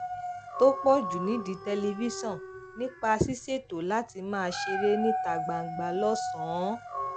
tó pò jù nídìí tẹlifíṣòn nípa ṣíṣètò láti máa ṣeré níta gbangba lósànán